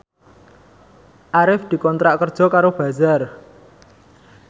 Arif dikontrak kerja karo Bazaar